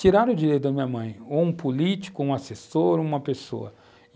tiraram o direito da minha mãe, ou um político, ou um assessor, ou uma pessoa.